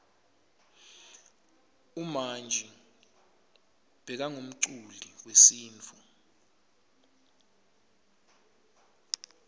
umanji bekangumculi wesintfu